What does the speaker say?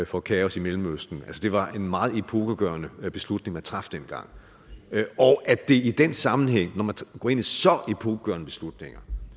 for kaos i mellemøsten at det var en meget epokegørende beslutning man traf dengang og at det i den sammenhæng når man går ind i så epokegørende beslutninger